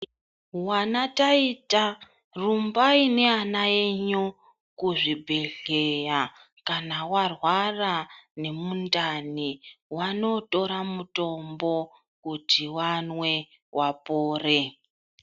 Wanataita rumbai neana enyu kuzvibhehleya kana warwara nemundani wanotora mutombo kuti wanwe wapore.